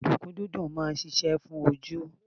Odunkun dídùn máa ń ṣíṣe fún ojú.